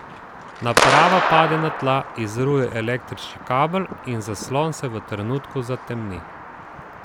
Naprava pade na tla, izruje električni kabel in zaslon se v trenutku zatemni.